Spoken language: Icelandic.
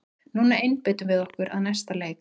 Núna einbeitum við okkur að næsta leik!